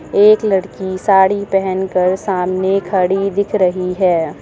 एक लड़की साड़ी पहन कर सामने खड़ी दिख रही है।